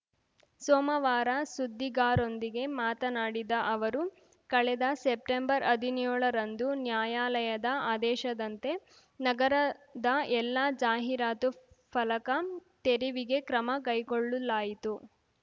ಸೋಮವಾರ ಸುದ್ದಿಗಾರೊಂದಿಗೆ ಮಾತನಾಡಿದ ಅವರು ಕಳೆದ ಸೆಪ್ಟೆಂಬರ್ಹದಿನ್ಯೋಳರಂದು ನ್ಯಾಯಾಲಯದ ಆದೇಶದಂತೆ ನಗರದ ಎಲ್ಲ ಜಾಹೀರಾತು ಫಲಕ ತೆರವಿಗೆ ಕ್ರಮ ಕೈಗೊಳ್ಳಲಾಯಿತು